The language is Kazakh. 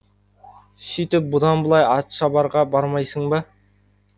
сөйтіп бұдан былай атшабарға бармайсың ба